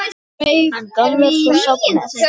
Hann gaf mér svo safnið.